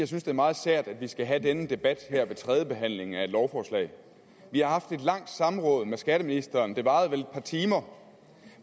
synes det er meget sært at vi skal have denne debat her ved tredjebehandlingen af et lovforslag vi har haft et langt samråd med skatteministeren det varede vel et par timer